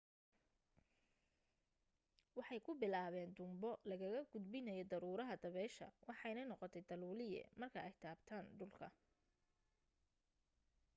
waxay ku bilaaben tuunbo lagagudbinayo daruuraha dabeesha waxayna noqotay taluuliye marka ay taabtan dhulka